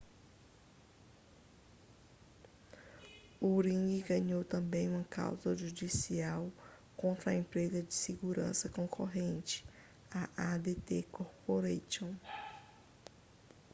a ring ganhou também uma causa judicial contra a empresa de segurança concorrente a adt corporation